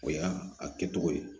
O y'a a kɛ cogo ye